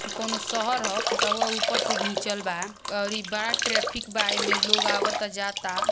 ई कोनो शहर ह फोटाउआ उपर से घिंचल बा और ई बड़ा ट्रैफिक बा इमें लोग आवता जाता।